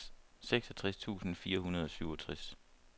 seksogtres tusind fire hundrede og syvogtres